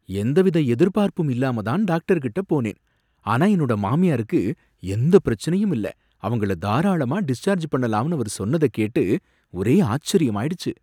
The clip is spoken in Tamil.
எந்தவித எதிர்பார்ப்பும் இல்லாம தான் டாக்டர் கிட்ட போனேன். ஆனா என்னோட மாமியாருக்கு எந்த பிரச்சனையும் இல்ல, அவங்கள தாராளமா டிஸ்சார்ஜ் பண்ணலாம்னு அவரு சொன்னத கேட்டு ஒரே ஆச்சரியமாயிடுச்சு.